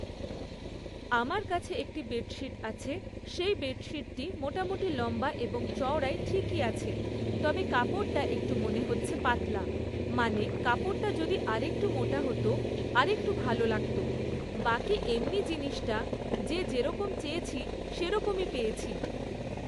আমার কাছে একটি বেডশিট আছে, সেই বেডশিটটি মোটামোটি লম্বা এবং চওড়ায় ঠিকই আছে, তবে কাপড়টা একটু মনে হচ্ছে, পাতলা, মানে কাপড়টা যদি আরেকটু মোটা হত, আরেকটু ভালো লাগত, বাকি এমনি জিনিসটা যে যেরকম চেয়েছি, সেরকমই পেয়েছি।